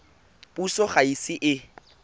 puso ga e ise e